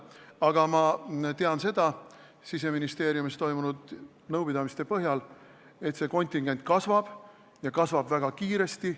Aga ma tean Siseministeeriumis toimunud nõupidamiste põhjal, et see kontingent kasvab ja kasvab väga kiiresti.